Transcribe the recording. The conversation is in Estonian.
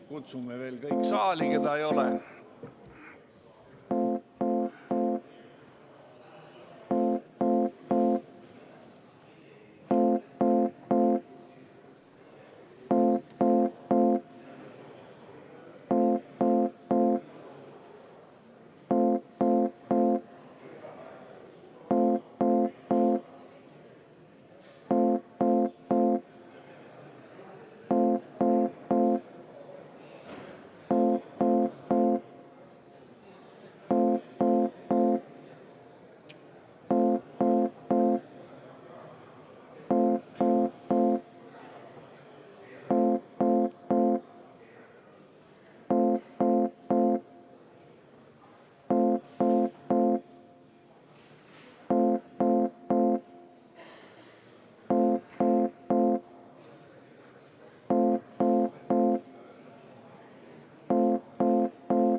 Kutsume veel kõik saali, keda siin ei ole.